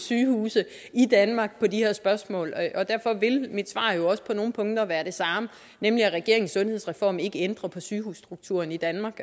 sygehuse i danmark med de her spørgsmål og derfor vil mit svar jo også på nogle punkter være det samme nemlig at regeringens sundhedsreform ikke ændrer på sygehusstrukturen i danmark